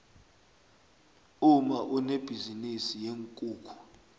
umma unebhizinisi yeenkukhu